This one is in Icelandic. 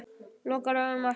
Lokar augunum aftur.